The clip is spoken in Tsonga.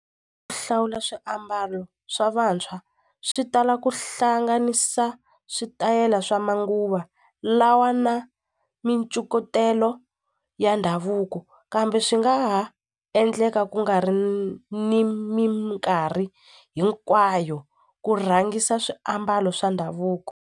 Ku hlawula swiambalo swa vantshwa swi tala ku hlanganisa switayela swa manguva lawa na mincukutelo ya ndhavuko kambe swi nga ha endleka ku nga ri ni minkarhi hinkwayo ku rhangisa swiambalo swa ndhavuko.